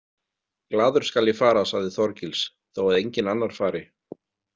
Glaður skal ég fara, sagði Þorgils, þó að enginn annar fari.